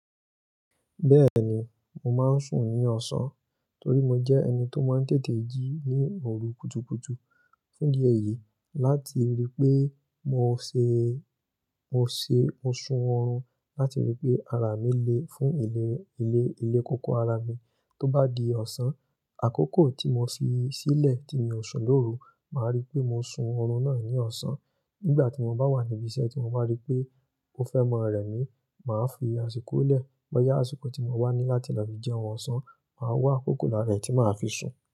Bẹ́ẹ̀ni, mo máa ń sùn ní ọ̀sán torí mo jẹ́ ẹni tó máa ń tètè jí ní òru kùtukùtu. Fún di ẹyì, láti rí pé mo ṣé, mo ṣé mo sun oorun láti rí pé ara mi le fún ilé, ilé kókó ara mi. Tó bá di ọ̀sán, àkókò tí mo fi sílẹ̀ tí mi ó sùn lóru, màá rí pé mo sun orun náà ní ọ̀sán. Nígbà tí mo bá wà níbi iṣẹ́ tí mo bá rí pé ó fẹ́ mọ rẹ̀ mí, màá fi àsìkò lẹ̀. Bọ́yá àsìkò tí mo wà ní láti lọ fí jẹun ọ̀sán, màá wá àkókò lára è tí màá fi sùn.